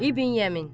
İbn Yəmin.